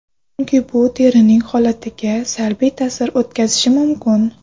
Chunki bu terining holatiga salbiy ta’sir o‘tkazishi mumkin.